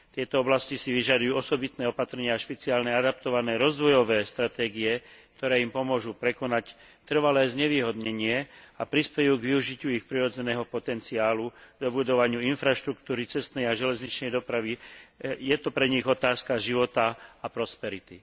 Tieto oblasti si vyžadujú osobitné opatrenia a špeciálne adaptované rozvojové stratégie, ktoré im pomôžu prekonať trvalé znevýhodnenie a prispejú k využitiu ich prirodzeného potenciálu, dobudovaniu infraštruktúry cestnej a železničnej dopravy, je to pre nich otázka života a prosperity.